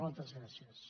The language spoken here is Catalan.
moltes gràcies